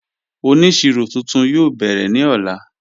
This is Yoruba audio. Ọnísíro tuntun yóò bẹ̀rẹ̀ ni ọ̀lá